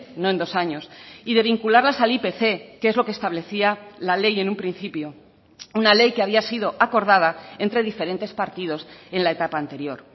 no en dos años y de vincularlas al ipc que es lo que establecía la ley en un principio una ley que había sido acordada entre diferentes partidos en la etapa anterior